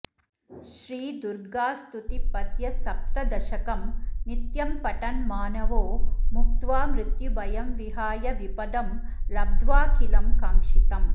श्रीदुर्गास्तुतिपद्यसप्तदशकं नित्यं पठन् मानवो मुक्त्वा मृत्युभयं विहाय विपदं लब्ध्वाखिलं काङ्क्षितम्